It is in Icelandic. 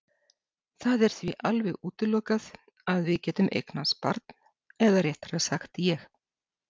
Það er því alveg útilokað að við getum eignast barn eða réttara sagt ég.